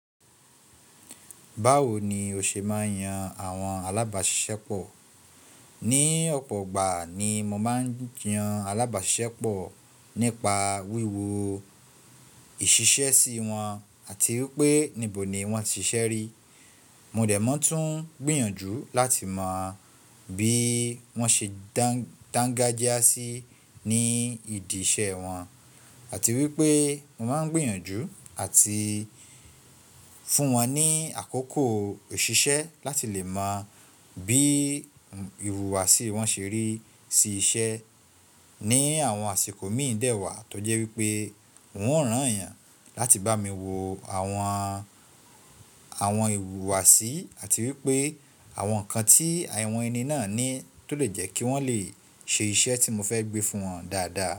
Báwo ni o ṣe máa ń yan àwọn alábàáṣisẹ́pọ̀? Ní ọ̀pọ̀ ìgbà ni mo máa ń yan alábàáṣisẹ́pọ̀ nípa wíwo ìṣiṣẹ́ sí wọn, àti wípé nibò ni wón ti ṣiṣẹ́ rí. Mo dẹ̀ mọ̀ tún gbìyànjú láti mọ bí wón ṣe dangajia sí ní ìdí iṣẹ́ wọn àti wípé mo máa ń gbìyànjú àti fún wọn ní àkókò iṣìṣẹ́ láti lè mọ bí ìwùwàsí wọn ṣe rí sí iṣẹ́. Ni àwọn àsìkò míì dẹ́ wà tó jẹ́ wípé wọn o rán ẹ̀yàn láti bá mi wo àwọn ìwùwàsí àti wípé àwọn ǹkan tí àwọn ẹni náà ní tó lè jẹ́ kí wọ́n lè ṣe iṣẹ́ tí mo fẹ́ gbé fún wọn dáadáa.